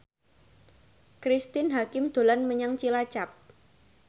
Cristine Hakim dolan menyang Cilacap